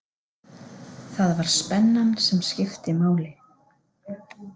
Það var spennan sem skipti máli.